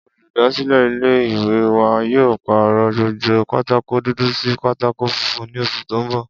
Olùdásílè̩ ilé ìwé wa yóò pàrò̩ gbogbo pátákó dúdú sí pátákó funfun ní os̩ù tó ń bò̩